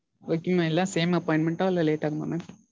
Okay mam. எல்லாரும் same appointment ஆ இல்ல late ஆகுமா mam?